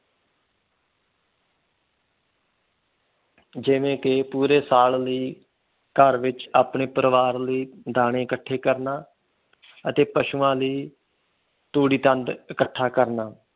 ਜਿਵੇਂ ਕੇ ਪੂਰੇ ਸਾਲ ਲਈ ਘਰ ਵਿਚ ਆਪਣੇ ਪਰਿਵਾਰ ਲਈ ਦਾਣੇ ਇਕੱਠੇ ਕਰਨਾ ਅਤੇ ਪਸ਼ੂਆ ਲਈ ਤੂੜੀ ਤੰਦ ਇੱਕਠਾ ਕਰਨਾ।